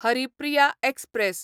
Haripriya express